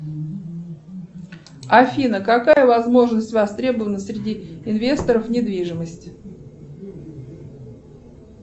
афина какая возможность востребована среди инвесторов недвижимости